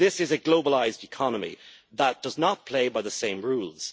This is a globalised economy that does not play by the same rules.